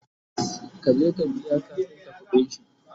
ka je ka biya kafinta ƙuɗinshi!